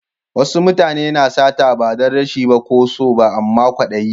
Wasu mutane na sata ba dan rashi ko so ba amma kwadayi.